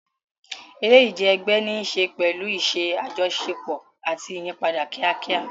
Eré ìje ẹgbẹ́ ní í ṣe pẹ̀lú iṣẹ́ àjọṣepọ̀ àti ìyípadà kíákíá.